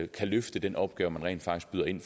kan løfte den opgave man rent faktisk byder ind